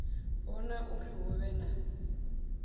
vhona uri hu vhe na